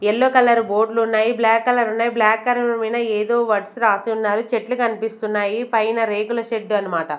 Yellow colour బోర్డులు ఉన్నాయి black colour ఉన్నాయి బ్లాక్ కలర్ మీద ఏదో వర్డ్స్ రాసి ఉన్నారు. చెట్లు కనిపిస్తున్నాయి పైన రేకుల షెడ్డు అన్నమాట.